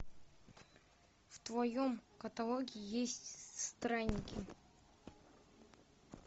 в твоем каталоге есть странники